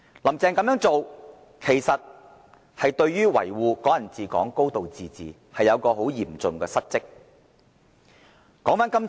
"林鄭"這樣做，未盡維護"港人治港"、"高度自治"之責，是嚴重的失職。